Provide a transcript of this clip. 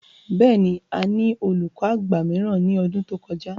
Bẹ́ẹ̀ ni, a ní olùkọ àgbà mìíràn ní ọdún tí ó kọjá.